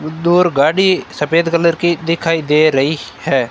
दूर गाड़ी सफेद कलर की दिखाई दे रही है।